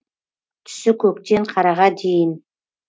түсі көктен қараға дейін